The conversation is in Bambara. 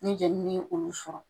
Ni jɛnini ye olu sɔrɔ